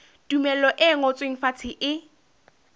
tumello e ngotsweng fatshe e